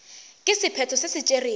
ka sephetho se se tšerwego